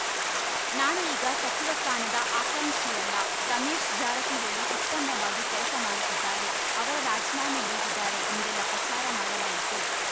ನಾನು ಈಗ ಸಚಿವ ಸ್ಥಾನದ ಆಕಾಂಕ್ಷಿಯಲ್ಲ ರಮೇಶ್‌ ಜಾರಕಿಹೊಳಿ ಉತ್ತಮವಾಗಿ ಕೆಲಸ ಮಾಡುತ್ತಿದ್ದಾರೆ ಅವರು ರಾಜೀನಾಮೆ ನೀಡಿದ್ದಾರೆ ಎಂದೆಲ್ಲಾ ಪ್ರಚಾರ ಮಾಡಲಾಯಿತು